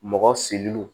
Mɔgɔ silu